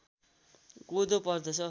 कोदो पर्दछ